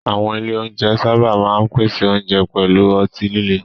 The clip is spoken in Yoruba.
Àwọn ilé oúnjẹ sábà máa ń pèsè oúnjẹ pẹ̀lú ọtí líle.